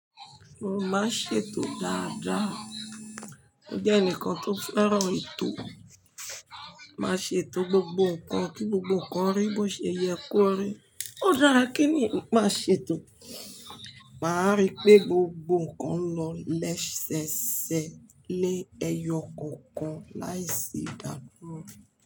Mo máa ń ṣètò dáadáa. Mo jẹ́ ẹnìkan tó fẹ́ràn etò. Máa ṣètò gbogbo ǹkan kí gbogbo ǹkan rí bí ó ṣe yẹ kó rí. Ó dára kí ènìyàn maa ṣètò. Màá rí pé gbogbo ǹkan lọ lẹ́sẹẹsẹ ni ẹyọ kookan láìsí ìdádúró.